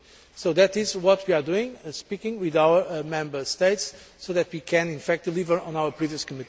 So that is what we are doing speaking with our Member States so that we can, in fact, deliver on our previous commitments.